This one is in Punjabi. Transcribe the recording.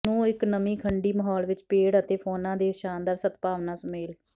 ਨੂੰ ਇੱਕ ਨਮੀ ਖੰਡੀ ਮਾਹੌਲ ਵਿਚ ਪੇੜ ਅਤੇ ਫੌਨਾ ਦੇ ਇਸ ਸ਼ਾਨਦਾਰ ਸਦਭਾਵਨਾ ਸੁਮੇਲ